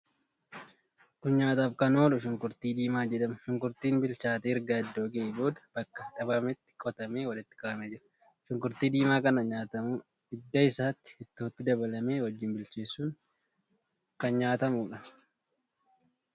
Kun nyaataaf kan oolu shunkurtii diimaa jedhama. Shunkurtiin bilchaatee erga iddoo ga'ee booda bakka dhaabameetii qotamee walitti qabamee jira. Shunkurtii diimaa kan nyaatamu hidda isaati. Ittootti dabalamee wajjin bilcheessuun kan nyaatamuudha.